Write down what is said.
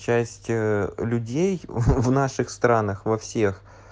часть людей в наших странах во всех